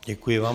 Děkuji vám.